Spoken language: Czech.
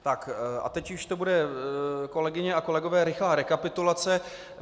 Tak, a teď už to bude, kolegyně a kolegové, rychlá rekapitulace.